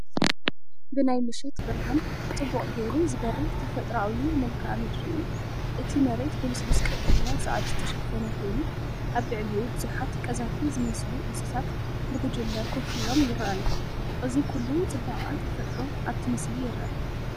ብናይ ምሸት ብርሃን ጽቡቕ ጌሩ ዝበርህ ተፈጥሮኣዊ መልክዓ ምድሪ እዩ። እቲ መሬት ብልስሉስ ቀጠልያ ሳዕሪ ዝተሸፈነ ኮይኑ፡ ኣብ ልዕሊኡ ብዙሓት ቀዛፊ ዝመስሉ እንስሳታት ብጉጅለ ኮፍ ኢሎም ይረኣዩ። እዚ ኩሉ ጽባቐ ተፈጥሮ ኣብቲ ምስሊ ይርአ።